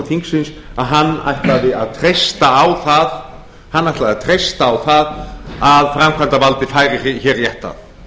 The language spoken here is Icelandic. þingsins að hann ætlaði að treysta á það að framkvæmdarvaldið færi hér rétt að